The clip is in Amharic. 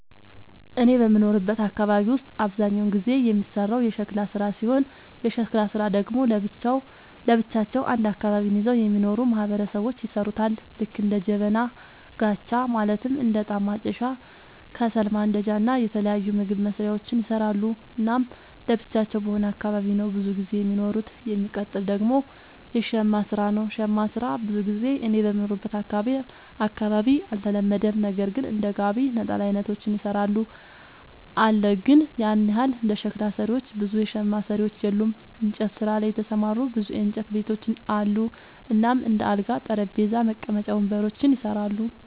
እኔ በምኖርበት አካባቢ ውስጥ አብዛኛውን ጊዜ የሚሰራው የሸክላ ስራ ሲሆን የሸክላ ስራ ደግሞ ለብቻቸው አንድ አካባቢን ይዘው የሚኖሩ ማህበረሰቦች ይሠሩታል ልክ እንደ ጀበና፣ ጋቻ ማለትም እንደ እጣን ማጨሻ፣ ከሰል ማንዳጃ እና የተለያዩ ምግብ መስሪያዎችን ይሰራሉ። እናም ለብቻቸው በሆነ አካባቢ ነው ብዙም ጊዜ የሚኖሩት። የሚቀጥል ደግሞ የሸማ ስራ ነው, ሸማ ስራ ብዙ ጊዜ እኔ በምኖርበት አካባቢ አልተለመደም ነገር ግን እንደ ጋቢ፣ ነጠላ አይነቶችን ይሰራሉ አለ ግን ያን ያህል እንደ ሸክላ ሰሪዎች ብዙ የሸማ ሰሪዎች የሉም። እንጨት ስራ ላይ የተሰማሩ ብዙ የእንጨት ቤቶች አሉ እናም እንደ አልጋ፣ ጠረጴዛ፣ መቀመጫ ወንበሮችን ይሰራሉ።